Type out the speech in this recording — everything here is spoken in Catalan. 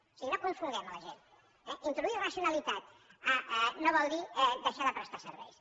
o sigui no confonguem la gent introduir racionalitat no vol dir deixar de prestar serveis